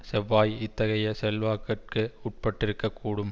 செவ்வாய் இத்தகைய செல்வாக்கிற்கு உட்பட்டிருக்கக் கூடும்